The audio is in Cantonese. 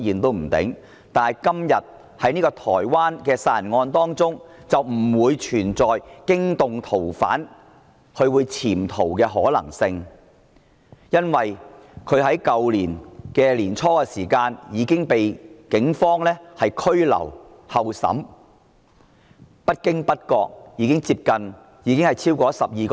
但是，今天這宗台灣殺人案便不存在驚動逃犯或潛逃的問題，因為疑犯在去年年初已經被警方拘留候審，至今不知不覺已經超過12個月。